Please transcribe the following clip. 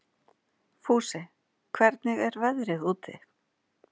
Fúsi, hvernig er veðrið úti?